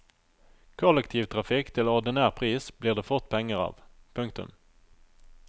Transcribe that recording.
Kollektivtrafikk til ordinær pris blir det fort penger av. punktum